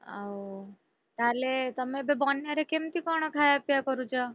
ଆଉ ତାହେଲେ ତମେ ଏବେ ବନ୍ୟାରେ କେମିତି କଣ ଖାୟାପିୟା କରୁଛ?